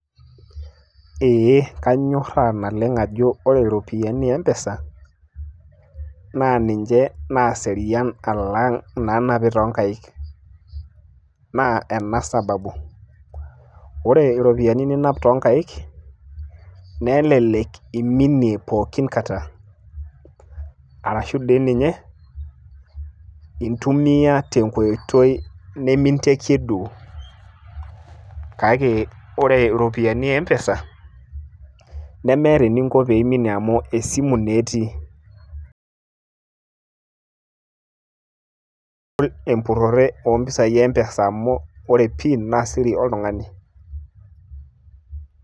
ee kanyoraa naleng' ajo ore iropiyiani te mpesa, naa ninche naaserina, alang inaanapi too nkaik, naa ena sababu, ore iropiyiani ninap, too nkaik, nelelek iminie pooki kata, arashu dii ninye intumia te nkoitoi niminteiki duo. kake ore iropiyiani te empesa, nemeeta eninko pee minie amu esimu naa etii, kegol empurore too ropiyiani e mpesa amu, ore pin naa siri oltungani.